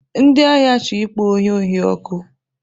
Ndị ahịa chọrọ ịkpọ onye ohi ọkụ.